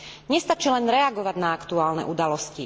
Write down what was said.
Nestačí len reagovať na aktuálne udalosti.